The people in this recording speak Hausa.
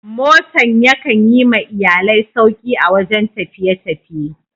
Motan ya kan Yi ma iyallai sauki a wajen tafiye-tafiye.